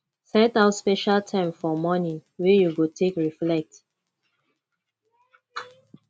set out special time for morning wey you go take reflect